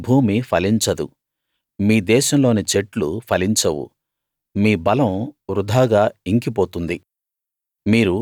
మీ భూమి ఫలించదు మీ దేశంలోని చెట్లు ఫలించవు మీ బలం వృథాగా ఇంకి పోతుంది